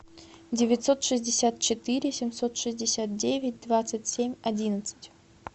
девятьсот шестьдесят четыре семьсот шестьдесят девять двадцать семь одиннадцать